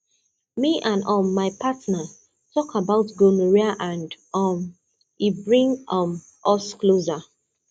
me and um my partner talk about gonorrhea and um e bring um us closer